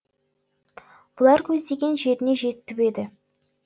бұлар көздеген жеріне жетіп еді